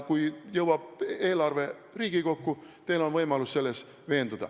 Kui eelarve jõuab Riigikokku, siis on teil võimalus selles veenduda.